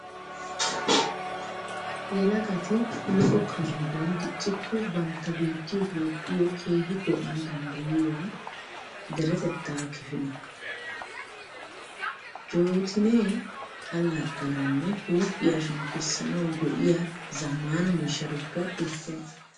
Yelagati lo'o kandduwan diccikko bantta biittiyo Toophphiyo keehi go'ana danddayiya deretettaa kifile. Jootinee allaxxanawunne huuphiya shemppisanawu go'iya zammaana miishshatuppe issuwaa.